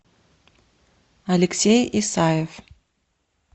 алексей исаев